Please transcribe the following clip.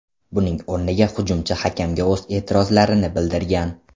Buning o‘rniga hujumchi hakamga o‘z e’tirozlarini bildirgan.